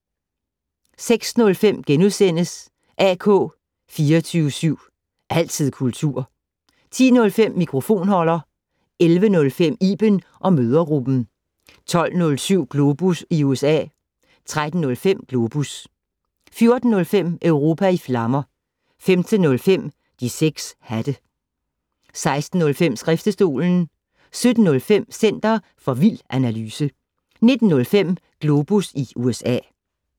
06:05: AK 24syv. Altid kultur * 10:05: Mikrofonholder 11:05: Iben & mødregruppen 12:07: Globus i USA 13:05: Globus 14:05: Europa i flammer 15:05: De 6 hatte 16:05: Skriftestolen 17:05: Center for vild analyse 19:05: Globus USA